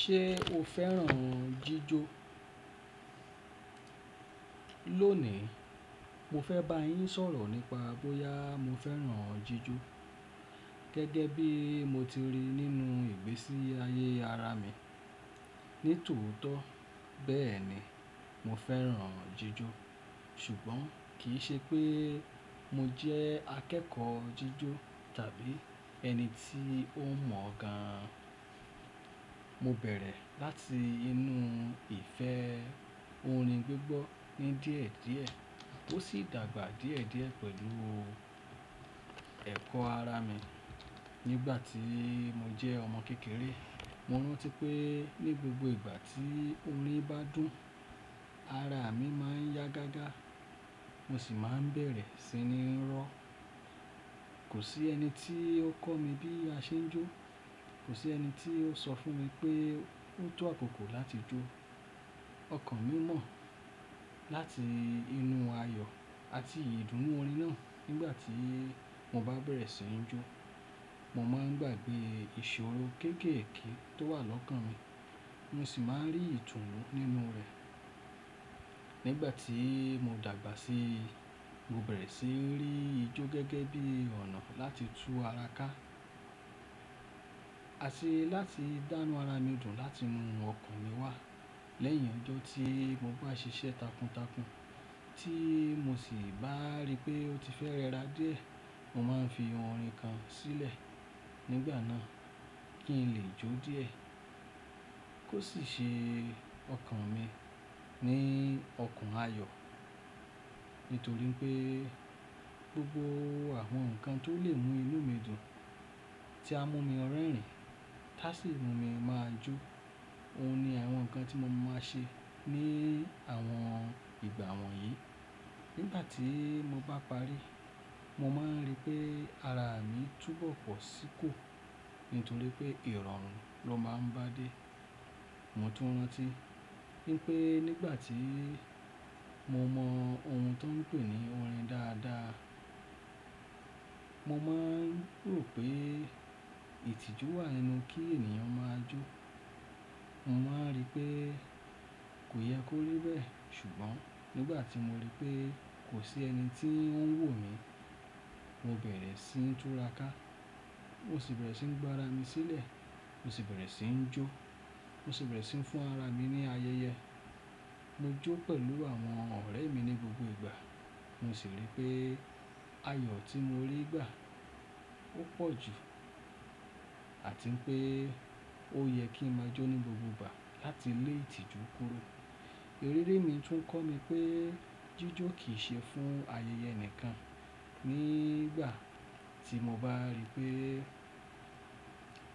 Ṣé o fẹ́ràn jíjó? Lónìí, mo fẹ́ bá yín sọ̀rọ̀ nípa bóyá mo fẹ́ràn jíjó. Gẹ́gẹ́ bí mo ti rí nínú ìgbésí ayé ara mi, ní tòótọ́ bẹ́ẹ̀ ni, mo fẹ́ràn jíjó. Ṣùgbọ́n kì í ṣe pé mo jẹ́ akẹ́kọ̀ọ́ jíjó tàbí ẹni tí ó mọ̀ gan. Mo bẹ̀rẹ̀ láti inú ìfẹ́ orin gbígbọ́ ní díẹ̀ díẹ̀, ó sì dàgbà díẹ̀ díẹ̀ pẹ̀lú ẹ̀kọ́ ara mi. Nígbà tí mo jẹ́ ọmọ kékeré, mo rántí pé ní gbogbo ìgbà tí orin bá dùn, ara mi má ń yá gágá, mo sì má ń bẹ̀rẹ̀ sí ní ró. Kò sí ẹni tí ó kọ́ mi bí a ṣe ń jó, kò sí ẹni tí ó sọ fún mi pé o tó àkókò láti jó. Ọkàn mi mọ̀. Láti inú ayọ̀ àti ìdùnnú orin náà, nígbà tí mo bá bẹ̀rẹ̀ sí ní jó, mo má ń gbàgbé ìṣòro kéékèèké tó wà lọ́kàn mi, mo sì má ń rí ìtùnú nínú rẹ̀. Nígbà tí mo dàgbà sí i, mo bẹ̀rẹ̀ sí ní rí ijó gẹ́gẹ́ bí ọ̀nà láti tú ara ká àti láti dánu ara mi dùn láti inú ọkàn mi wá. Lẹ́yìn ọjọ́ tí mo bá ṣiṣẹ́ takuntakun tí mo sì bá rí pé ó ti fẹ́ rẹra díẹ̀, mo máa ń fi ohun orin kan sílẹ̀ nígbà náà kí n lè jó díẹ̀. Kò sì ṣe ọkàn mi ní ọkàn ayọ̀ nítorí pé gbogbo àwọn nǹkan tó lè mú inú mi dùn tí a mú mi rẹ́rìn-ín, táà sì mú mi máa jó, òun ni àwọn nǹkan tí mo máa ń ṣe ní àwọn ìgbà wọ̀nyí. Nígbà tí mo bá parí, mo má ń rí pé ara mi túbọ̀ pọ̀ sí kò nítorí pé ìrọ̀rùn ló má ń bá dé. Mo tún rántí wipé nígbà tí mo mọ ohun tó ń pè ní orin dáadáa, mo má ń rò pé ìtìjú wà nínú kí ènìyàn máa jó. Mo má ń rí pé kò yẹ kó rí bẹ́ẹ̀, ṣùgbọ́n nígbà tí mo rí pé kò sí ẹni tí ó ń wò mí, mo bẹ̀rẹ̀ sí ní túra ká, mo sì bẹ̀rẹ̀ sí ní gbá ara mi sílẹ̀, mo sì bẹ̀rẹ̀ sí ní jó, mo sì bẹ̀rẹ̀ sí ní fún ara mi ní ayẹyẹ. Mo jó pẹ̀lú àwọn ọ̀rẹ́ mi ní gbogbo ìgbà, mo sì rí pé ayọ̀ tí mo rí gbà ó pọ̀ jù àti pé ó yẹ kí n máa jó ní gbogbo ìgbà láti lé ìtìjú kúro. Eré mi tún kọ́ mi pé jíjó kì í ṣe fún ayẹyẹ nìkan. Nígbà tí mo bá rí pé